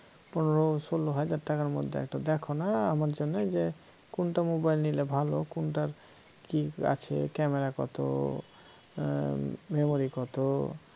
পনেরো ষোল হাজার টাকার মধ্যে একটা দেখ না আমার জন্য কোনটা mobile নিলে ভাল কোনটার কি আছে camera কত memory কত?